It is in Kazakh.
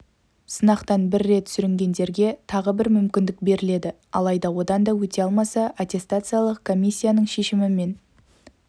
сынақтан бір рет сүрінгендерге тағы бір мүмкіндік беріледі алайда одан да өте алмаса аттестациялық комиссияның шешімімен